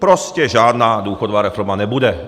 Prostě žádná důchodová reforma nebude.